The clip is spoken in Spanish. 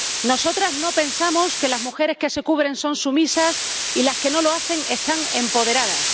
Nosotras no pensamos que las mujeres que se cubren son sumisas y las que no lo hacen están empoderadas.